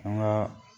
An ka